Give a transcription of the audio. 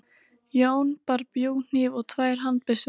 Jón bar bjúghníf og tvær handbyssur.